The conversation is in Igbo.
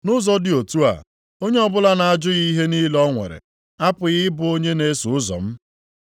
Nʼụzọ dị otu a, onye ọbụla na-ajụghị ihe niile o nwere, apụghị ịbụ onye na-eso ụzọ m.